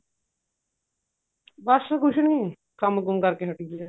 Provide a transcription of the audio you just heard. ਬੱਸ ਕੁੱਝ ਨੀ ਕੰਮ ਕੁਮ ਕਰ ਕੇ ਹਟੀ ਸੀ ਮੈਂ